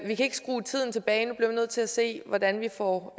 kan ikke skrue tiden tilbage vi nødt til at se hvordan vi får